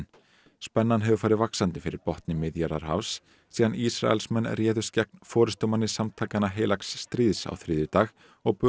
spennan hefur farið vaxandi fyrir botni Miðjarðarhafs síðan Ísraelsmenn réðust gegn forystumanni samtakanna heilags stríðs á þriðjudag og